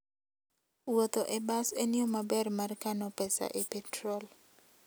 Wuotho e bas en yo maber mar kano pesa e petrol.